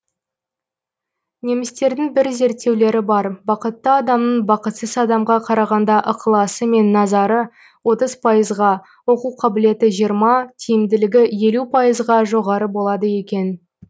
немістердің бір зерттеулері бар бақытты адамның бақытсыз адамға қарағанда ықыласы мен назары отыз пайызға оқу қабілеті жиырма тиімділігі елу пайызға жоғары болады екен